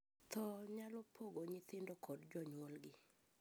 Thoo nyalo pogo nyithindo kod jonyuolgi.